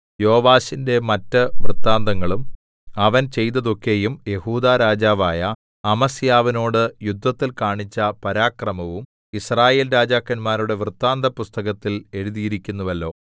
യോവാശിന്റെ മറ്റ് വൃത്താന്തങ്ങളും അവൻ ചെയ്തതൊക്കെയും യെഹൂദാ രാജാവായ അമസ്യാവിനോട് യുദ്ധത്തിൽ കാണിച്ച പരാക്രമവും യിസ്രായേൽ രാജാക്കന്മാരുടെ വൃത്താന്തപുസ്തകത്തിൽ എഴുതിയിരിക്കുന്നുവല്ലോ